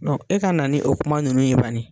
e ka na ni o kuma ninnu ye bani.